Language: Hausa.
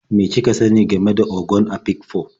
Me kika sani game da Ogon Afikpo?